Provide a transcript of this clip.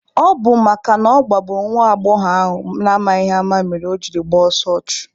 Ọ bụ makana ọ gbagburu nwa agbọghọ ahụ n'amaghị ama mere o jiri gbaa ọsọ ọchụ.